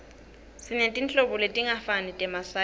sinetinhlobo letingafani temasayizi